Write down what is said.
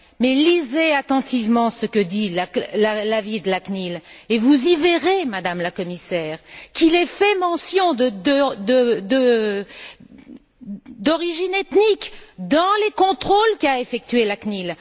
Mais lisez attentivement ce que dit l'avis de la CNIL et vous y verrez, Madame la Commissaire, qu'il est fait mention de l'origine ethnique dans les contrôles qu'a effectués la CNIL.